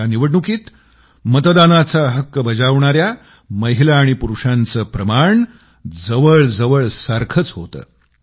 या निवडणुकीत मतदानाचा हक्क बजावणाऱ्या महिला आणि पुरूषांचे प्रमाण जवळजवळ सारखंच होतं